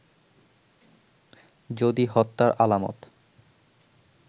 যদি হত্যার আলামত